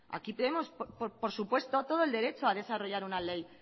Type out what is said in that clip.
aquí tenemos pues por supuesto todo el derecho a desarrollar una ley